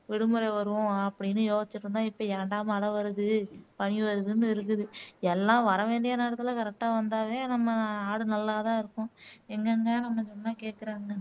விடுமுறை வரும் அப்படின்னு யோசிச்சுட்டு இருந்தோம் இப்போ ஏண்டா மழை வருது பனி வருதுன்னு இருக்குது எல்லாம் வர வேண்டிய நேரத்துல correct ஆ வந்தாவே நம்ம நாடு நல்லா தான் இருக்கும். எங்கங்க நம்ம சொன்னா கேக்குறாங்க